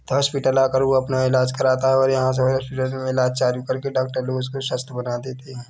Hospital आकर वो अपना इलाज कराता हैऔर यहाँ हॉस्पिटल मे इलाज चालू करके डॉक्टर लोग उसको स्वस्थ बना देते है।